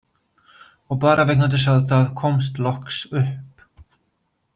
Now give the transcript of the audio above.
Og bara vegna þess að það komst loks upp.